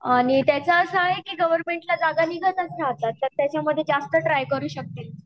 आणि त्याचा असा आहे की गवर्नमेंट च्या जागा निघतच राहतात तर त्याच्या मधे जास्त ट्राय करू शकतील